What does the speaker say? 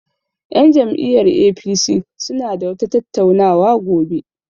Yan jam'iyyar APC suna da wata tattauna wa gobe.